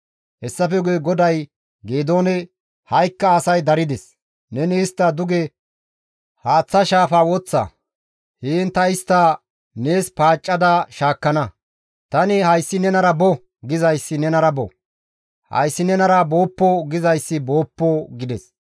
Hessafe guye GODAY Geedoone, «Ha7ikka asay darides; neni istta duge haaththa shaafa woththa; heen ta istta nees paaccada shaakkana; tani, ‹Hayssi nenara bo› gizayssi nenara bo; ‹Hayssi nenara booppo› gizayssi booppo» gides.